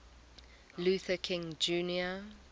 luther king jr